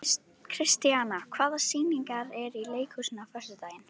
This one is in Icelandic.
Kristíanna, hvaða sýningar eru í leikhúsinu á föstudaginn?